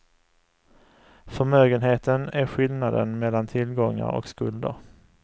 Förmögenheten är skillnaden mellan tillgångar och skulder.